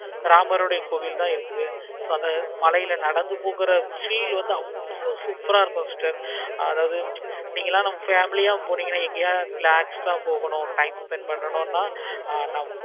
ராமருடைய கோவில் தான் இருக்குது. மழையில நடந்து போகுற feel வந்து அவ்வளோ சூப் ஆஹ் இருக்கும். அதாவது நீங்கலாம் நம்ம family யா போனீங்கன்னா எங்கயாவது relax ஆஹ் போகணும். time spent பண்ணனும்னா